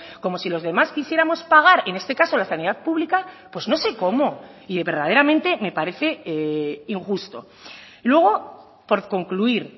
como si los demás quisiéramos pagar en este caso la sanidad pública pues no sé cómo y verdaderamente me parece injusto luego por concluir